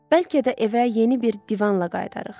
Bəlkə də evə yeni bir divanla qayıdarıq.